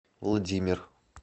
владимир